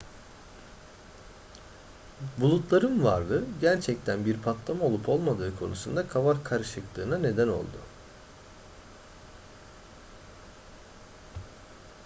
bulutların varlığı gerçekten bir patlama olup olmadığı konusunda kafa karışıklığına neden oldu